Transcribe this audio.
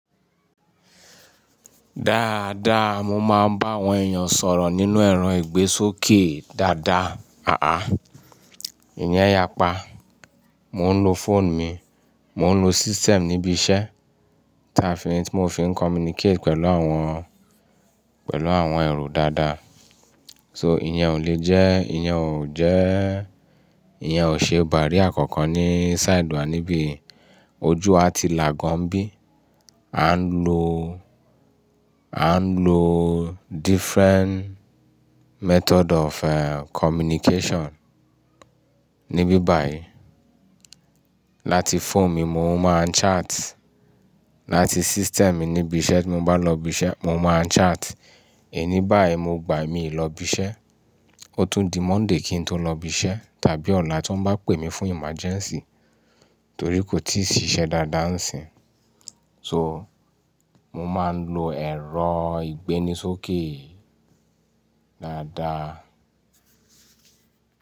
Dáadáa, mo máa ń bá àwọn èèyàn sọ̀rọ̀ nínú ẹ̀rọ ìgbésókè dáadáa. Àá, ìyẹn yapa, mò ń lo fóònù mi, mò ń lo system níbi iṣẹ́ tí a fi ní, tí mo fi ń communicate pẹ̀lú àwọn, pẹ̀lú àwọn èrò dáadáa. So ìyẹn ò le jẹ́, ìyẹn ò jẹ́, ìyẹn ò ṣe barrier kankan ní side wa níbi ojú wá ti là gan ań bí. A ń lo, a ń lo different method of eh communication níbí báyìí. Láti fóònù mi mò ń máa chat, láti system níbi iṣẹ́ tí mo bá lọ ibi iṣẹ́, mò ń máa chat. Èní báyiì mo gbà'ye mí lọ ibi iṣẹ́, ó tún di Monday kí n tó lọ ibi iṣẹ́ tàbí ọ̀la tí wọ́n bá pè mí fún emergency, torí kò tíì ṣiṣẹ́ dáadáa ń sìn. So mò máa ń lo ẹ̀rọ ìgbéni sókè dáadáa.